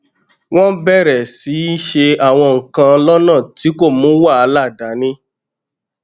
wón bèrè sí í ṣe àwọn nǹkan lónà tí kò mú wàhálà dání